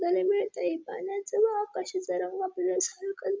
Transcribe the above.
बघायला मिळतय पाण्याच वाफ कशी जरा --